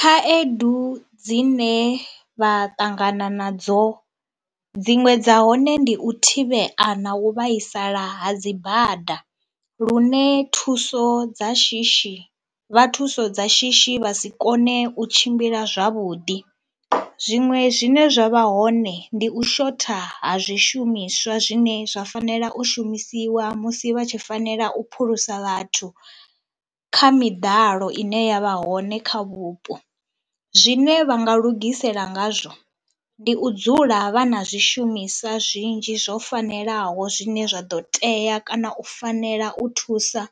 Khaedu dzine vha ṱangana nadzo dziṅwe dza hone ndi u thivhea na u vhaisala ha dzi bada lune thuso dza shishi, vha thuso dza shishi vha si kone u tshimbila zwavhuḓi. Zwiṅwe zwine zwa vha hoṋe ndi u shotha ha zwishumiswa zwine zwa fanela u shumisiwa musi vha tshi fanela u phulusa vhathu kha miḓalo ine ya vha hone kha vhupo. Zwine vha nga lugisela ngazwo ndi u dzula vha na zwishumiswa zwinzhi zwo fanelaho zwine zwa ḓo tea kana u fanela u thusa